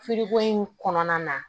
in kɔnɔna na